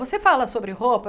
Você fala sobre roupa?